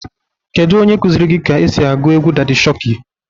Kedu onye kuzịrị gi ka esi agụ egwu Dadị Shokị?